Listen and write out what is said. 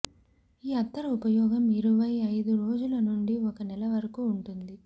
ఈ అత్తరు ఉపయోగం ఇరవై ఐదు రోజుల నుండి ఒక నెల వరకు ఉంటుంది